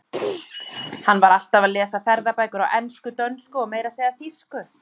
Hann var alltaf að lesa ferðabækur á ensku, dönsku og meira að segja þýsku.